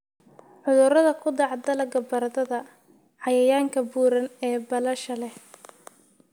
cudurada ku dhaca dalagga baradhada. Cayayaanka buuran ee baalasha leh